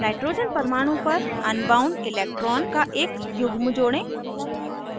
nitrogen परमाणु पर bound electrons का एक युग्म जोड़ें